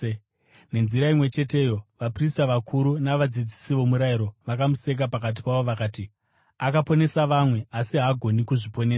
Nenzira imwe cheteyo vaprista vakuru navadzidzisi vomurayiro vakamuseka pakati pavo, vakati, “Akaponesa vamwe, asi haagoni kuzviponesa!